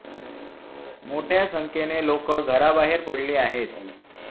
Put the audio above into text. मोठ्या संख्येने लोकं घराबाहेर पडली आहेत.